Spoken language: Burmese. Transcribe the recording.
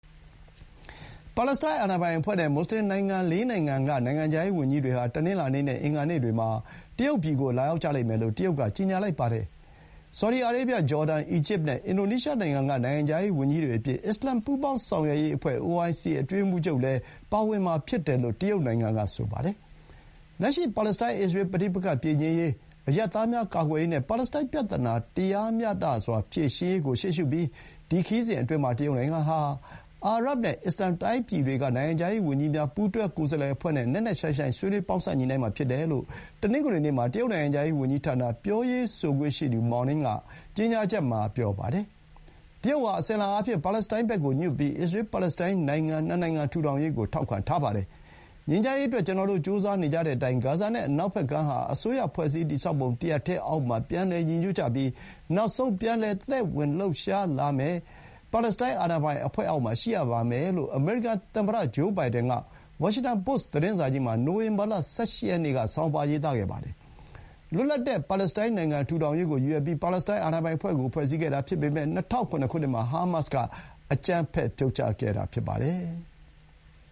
ပါလက်စတိုင်း အာဏာပိုင်အဖွဲ့ နဲ့ မူဆလင်အများစု ၄ နိုင်ငံက နိုင်ငံခြားရေးဝန်ကြီးတွေဟာ တနင်္လာနေ့နဲ့ အင်္ဂါနေ့တွေမှာ တရုတ်ပြည်ကို လာရောက်ကြလိမ့်မယ်လို့ တရုတ်က ကြေညာပါတယ်။ ဆော်ဒီအာရေဗျ၊ ဂျော်ဒန်၊ အီဂျစ်နဲ့ အင်ဒိုနီးရှား နိုင်ငံခြားရေးဝန်ကြီးတွေအပြင် အစ္စလာမ် ပူးပေါင်းဆောင်ရွက်ရေးအဖွဲ့ အတွင်းရေးမှူးချုပ်လည်း ပါဝင်မယ်လို့ တရုတ်နိုင်ငံက ဆိုပါတယ်။ “လက်ရှိ ပါလက်တိုင်း-အစ္စရေး ပဋိပက္ခပြေငြိမ်းရေး၊ အရပ်သားများ ကာကွယ်ရေးနဲ့ ပါလက်စတိုင်းပြဿနာ တရားမျှတစွာ ဖြေရှင်းရေး ကို ရှေးရှုပြီး ဒီခရီးစဥ်အတွင်းမှာ တရုတ်နိုင်ငံဟာ အာရပ်နဲ့ အစ္စလာမ်တိုင်းပြည်တွေက နိုင်ငံခြားရေးဝန်ကြီးများ ပူးတွဲကိုယ်စားလှယ်အဖွဲ့နဲ့ နက်နက်ရှိုင်းရှိုင်း ဆွေးနွေး ပေါင်းစပ်ညှိနှိုင်းမှာ ဖြစ်တယ်လို့ တနင်္ဂနွေနေ့ မှာ တရုတ်နိုင်ငံခြားရေးဝန်ကြီးဌာနပြောရေးဆိုခွင့်ရှိသူ မော်နင်း (Mao Ning) က ကြေညာချက်မှာ ပြောပါတယ်။ တရုတ်ဟာ အစဥ်အလာအားဖြင့် ပါလက်စတိုင်းဘက်ကိုညွတ်ပြီး အစ္စရေး-ပါလက်စတိုင်း နိုင်ငံ ၂ နိုင်ငံထူထောင်ရေးကို ထောက်ခံပါတယ်။ “ငြိမ်းချမ်းရေးအတွက် ကျနော်တို့ ကြိုးစားနေကြတဲ့အတိုင်း ဂါဇာနဲ့ အနောက်ဘက်ကမ်းဟာ အစိုးရဖွဲ့စည်းတည်ဆောက်ပုံ တရပ်တည်းအောက်မှာ ပြန်လည်ညီညွတ်ကြပြီး နောက်ဆုံး ပြန်လည်သက်ဝင်လှုပ်ရှားလာမယ်ပ့ ပါလက်စတိုင်းအာဏာပိုင်အဖွဲ့အောက်မှာ ရှိရပါမယ်” လို့ အမေရိကန်သမ္မတ ဂျိုးဘိုင်ဒန်က ဝါရှင်တန်ပို့စ် သတင်းစာကြီးမှာ နိုဝင်ဘာလ ၁၈ ရက်နေ့က ရေးခဲ့ပါတယ်။ လွတ်လပ်တဲ့ ပါလက်စတိုင်းနိုင်ငံ ထူထောင်ရေးကိုရည်ရွယ်ပြီး ပါလက်စတိုင်း အာဏာပိုင်အဖွဲ့ကို ဖွဲ့စည်းခဲ့တာဖြစ်ပေမဲ့ ၂၀၀၇ ခုနှစ်မှာ ဟားမတ်စ်က အကြမ်းဖက် ဖြုတ်ချခဲ့တာဖြစ်ပါတယ်။